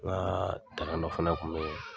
N ka takanɔ fana kun bɛ yen